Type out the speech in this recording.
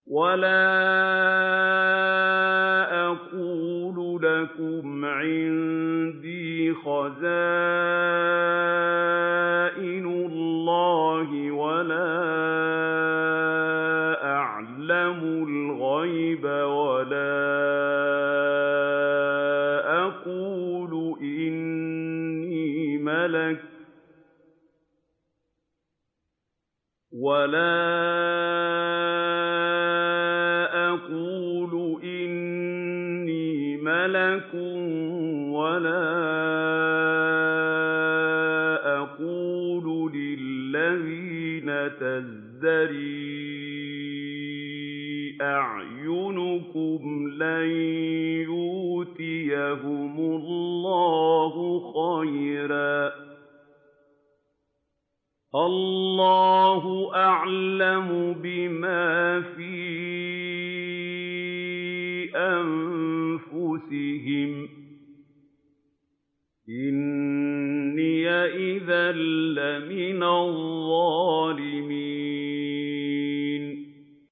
وَلَا أَقُولُ لَكُمْ عِندِي خَزَائِنُ اللَّهِ وَلَا أَعْلَمُ الْغَيْبَ وَلَا أَقُولُ إِنِّي مَلَكٌ وَلَا أَقُولُ لِلَّذِينَ تَزْدَرِي أَعْيُنُكُمْ لَن يُؤْتِيَهُمُ اللَّهُ خَيْرًا ۖ اللَّهُ أَعْلَمُ بِمَا فِي أَنفُسِهِمْ ۖ إِنِّي إِذًا لَّمِنَ الظَّالِمِينَ